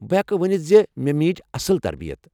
بہٕ ہیٚکہٕ ؤنتھ ز مےٚ میج اصل تربیت۔